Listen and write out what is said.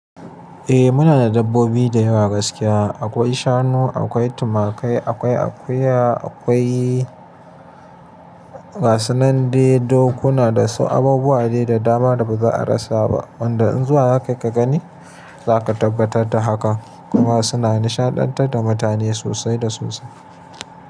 Eh muna da dabbobi da yawa gaskiya. Akwai shanu, akwai tumakai, akwai akuya, akwai gasunandai, dokuna da su abubuwa dai da dama da ba za a rasa ba. Wanda in zuwa zakai ka gani zaka tabbatar da hakan kuma suna nishadantar da mutane sosai da sosai.